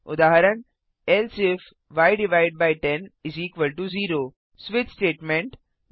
उदाहरण एल्से ifय10 0 switch statement